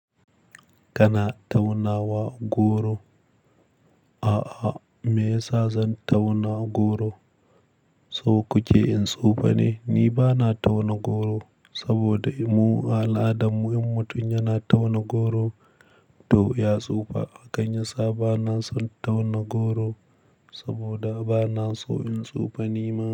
Kana taunawa goro? A'a, me yasa zan tauna goro? Saukuke in tsufa ne. Ni bana tauna goro saboda mu al'adarmu in mutum yana tauna goro, to ya tsufa. A hanyarsa bana son tauna goro saboda bana so in tsufa nima.